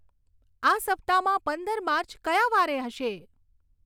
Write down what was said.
આ સપ્તાહમાં પંદર માર્ચ કયા વારે હશે